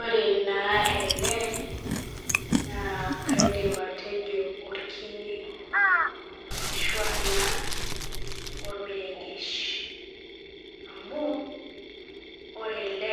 Ore naa ele naa kaidim atejo orkine ashua naa ormeregesh amu ore ele